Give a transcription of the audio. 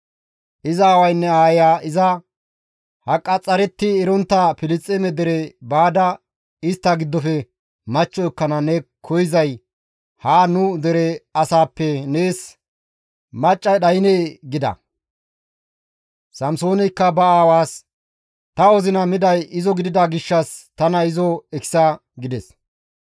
Iza aawaynne aayeya iza, «Ha qaxxaretti erontta Filisxeeme dere baada istta giddofe machcho ekkana ne koyzay haan nu dere asaappe nees maccay dhaynee?» gida. Samsooneykka ba aawaas, «Ta wozina miday izo gidida gishshas tana izo ekisa» gides.